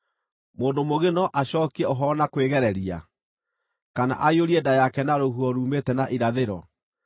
“Mũndũ mũũgĩ no acookie ũhoro na kwĩgereria, kana aiyũrie nda yake na rũhuho ruumĩte na irathĩro?